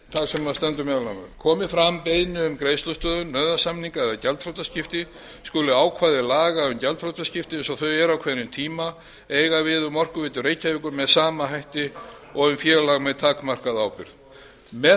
þar sem stendur meðal annars komi fram beiðni um greiðslustöðvun nauðasamninga eða gjaldþrotaskipti skulu ákvæði laga um gjaldþrotaskipti eins og þau eru á hverjum tíma eiga við um orkuveitu reykjavíkur með sama hætti og um félag með takmarkaða ábyrgð með